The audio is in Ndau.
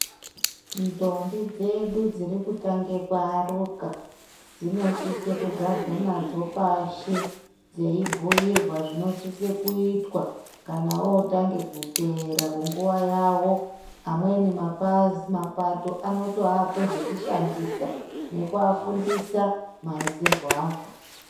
Ndombi dzedu dziri kutange ku aruka dzino sise kugarwe nadzo pashi dzei bhuyirwa zvino sise kuitwa kana wotange ku teera mu nguva yavo amweni mapato anoto ape zveku shandisa nekuva fundisa ma isirwo azvo.